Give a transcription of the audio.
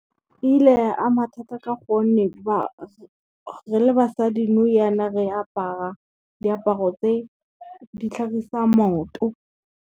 Ile ya ama thata ka gonne re le basadi nou jana re apara diaparo tse di tlhagisang maoto.